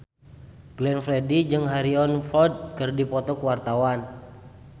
Glenn Fredly jeung Harrison Ford keur dipoto ku wartawan